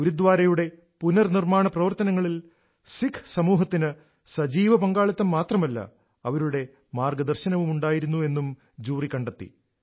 ഗുരുദ്വാരയുടെ പുനർനിർമാണ പ്രവർത്തനങ്ങളിൽ സിഖ് സമൂഹത്തിന് സജീവ പങ്കാളിത്തം മാത്രമല്ല അവരുടെ മാർഗദർശനവും ഉണ്ടായിരുന്നു എന്നും ജൂറി കണ്ടെത്തി